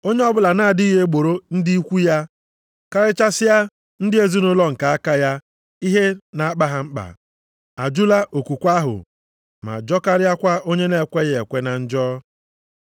Onye ọbụla na-adịghị egboro ndị ikwu ya, karịchasịa ndị ezinaụlọ nke aka ya ihe na-akpa ha mkpa, ajụla okwukwe ahụ ma jọkarịakwa onye na-ekweghị ekwe na njọ.